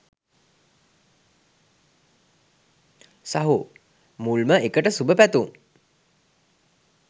සහෝ මුල්ම එකට සුබ පැතුම්!